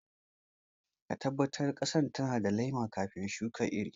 Tabbatar cewa ƙasa tana da laima kafin shuka iri..